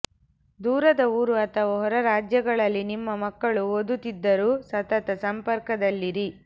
ದೂರದ ಊರು ಅಥವಾ ಹೊರ ರಾಜ್ಯಗಳಲ್ಲಿ ನಿಮ್ಮ ಮಕ್ಕಳು ಓದುತ್ತಿದ್ದರೂ ಸತತ ಸಂಪರ್ಕದಲ್ಲಿರಿ